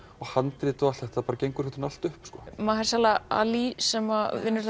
handrit og allt þetta gengur bara allt upp ali sem vinnur